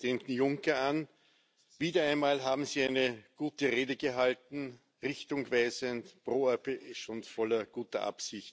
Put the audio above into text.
En definitiva, una Europa que nos devuelva el orgullo de pertenecer a un espacio de encuentro de convivencia y de respeto. Una Europa fuerte, nos hace más unidos a todos y a todas.